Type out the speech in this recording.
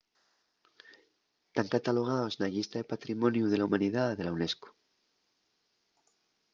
tán catalogaos na llista de patrimoniu de la humanidá de la unesco